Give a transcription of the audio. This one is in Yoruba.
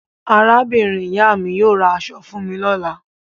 Arábìnrin-ìyá mi yóò ra aṣọ fún mi lọ́la.